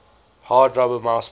hard rubber mouseball